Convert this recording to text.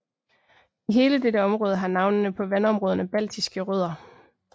I hele dette område har navnene på vandområderne baltiske rødder